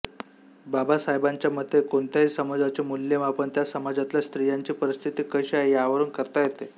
बाबासाहेबांच्या मते कोणत्याही समाजाचे मूल्यमापन त्या समाजातल्या स्त्रियांची परिस्थिती कशी आहे यावरून करता येते